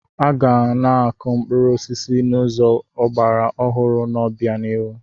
Aga na-akụ mkpụrụ osisi n'ụzọ ọgbara ọhụrụ n'obianihu.